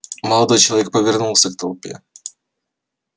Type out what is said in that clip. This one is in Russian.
молодой человек повернулся к толпе